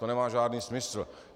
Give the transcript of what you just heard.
To nemá žádný smysl.